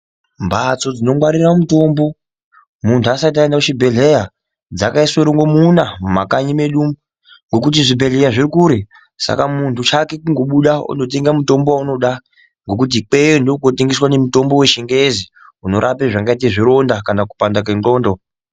Mhatso dzinongwarira mutombo, muntu asati aenda kuchibhedhlera dzakaiswe rongomuna mumakanyi me du, ngokuti zvibhedhlera zvirikure saka muntu chake kungobuda wondotenga mutombo waunoda, ngekuti kweyeyo ndiko kunotengeswe mutombo wechingezi unorape zvingaite zvironda kana kupanda kwendxondo.